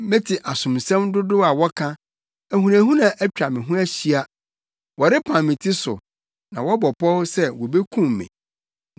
Mete asomsɛm dodow a wɔka ahunahuna atwa me ho ahyia. Wɔrepam me ti so, na wɔbɔ pɔw sɛ wobekum me.